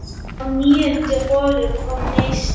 Á níundu holu kom neisti.